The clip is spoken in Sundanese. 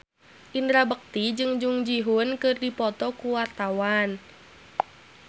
Indra Bekti jeung Jung Ji Hoon keur dipoto ku wartawan